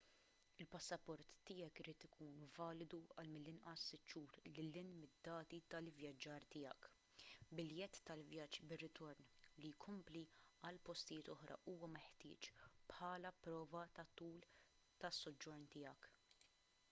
il-passaport tiegħek irid ikun validu għal mill-inqas 6 xhur lil hinn mid-dati tal-ivvjaġġar tiegħek. biljett tal-vjaġġ bir-ritorn/li jkompli għal postijiet oħra huwa meħtieġ bħala prova tat-tul tas-soġġorn tiegħek